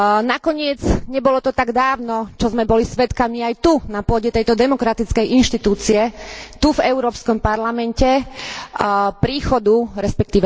Nakoniec, nebolo to tak dávno, čo sme boli svedkami aj tu, na pôde tejto demokratickej inštitúcie, tu v Európskom parlamente, príchodu, resp.